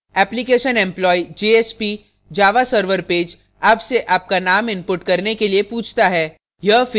application employs jsp java server pages आपसे आपका name input करने के लिए पूछता है